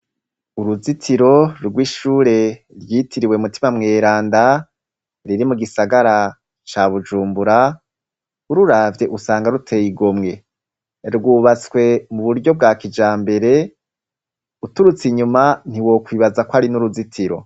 uruzitiro rw'ishure ryitiriwe mutima mweranda, riri mu gisagara ca bujumbura, ururavye usanga ruteye igomwe. rwubatswe mu buryo bwa kijambere, uturutse inyuma ntiwokwibaza ko ari n'uruzitiro.